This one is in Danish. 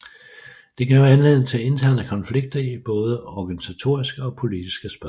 Det gav anledning til interne konflikter i både organisatoriske og politiske spørgsmål